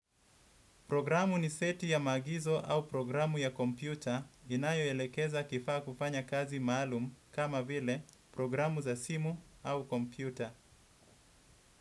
Programu ni seti ya maagizo au programu ya kompyuta inayoelekeza kifaa kufanya kazi maalum kama vile programu za simu au kompyuta.